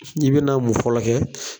N'i bena mun fɔlɔ kɛ